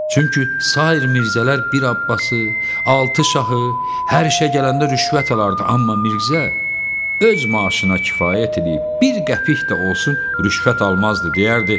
Çünki sair Mirzələr bir Abbası, altı şahı, hər işə gələndə rüşvət alırdı, amma Mirzə öz maaşına kifayət eləyib bir qəpik də olsun rüşvət almazdı, deyərdi: